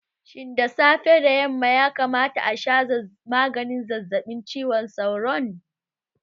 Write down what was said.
Shin da safe da yamma ya kamata a sha maganin zazzaɓin cizon sauron?